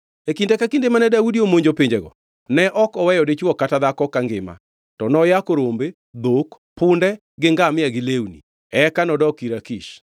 E kinde ka kinda mane Daudi omonjo pinjego ne ok oweyo dichwo kata dhako kangima, to noyako rombe, dhok, punde, gi ngamia gi lewni. Eka nodok ir Akish.